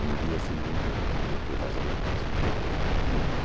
E no dia seguinte eu fui fazer o teste e entrei.